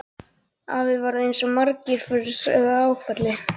Afi varð eins og svo margir aðrir fyrir áfalli.